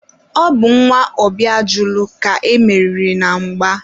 ọ bụ nwa Obiajulu ka e meriri na mgba.